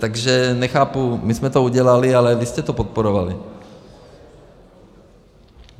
Takže nechápu, my jsme to udělali, ale vy jste to podporovali.